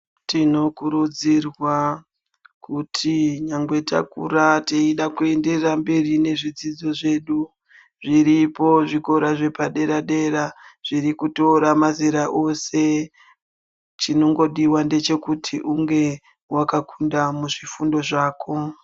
Tinokurudzirwa kuti nyangwe takura teida kuenderera mberi nezvidzidzo zvedu zviripo zvikora zvepaderadera zvirikutora mazera ose chinongodiwa ndechekuti unge wakakunda muzvifundo zvako.